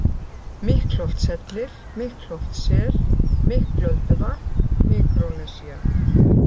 Miklholtshellir, Miklholtssel, Miklölduvatn, Mikrónesía